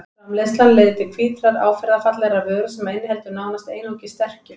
Framleiðslan leiðir til hvítrar áferðarfallegrar vöru sem inniheldur nánast einungis sterkju.